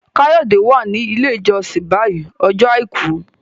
Kayode wá ní ilé ìjósìn bayí Ọjọ́ aìkú.